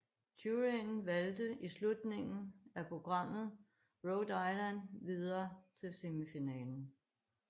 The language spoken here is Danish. Juryen valgte i slutningen af programmet Rhode Island videre til semifinalen